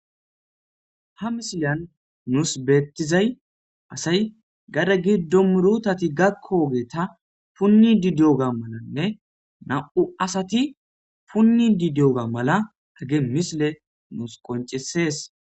Ha misilan nuus beettizay asay gada giddo murutati gakkogeeta punni didioga malanne nami'u asati punni didiyoga mala hage misile nuus qonccisees.